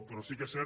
però sí que és cert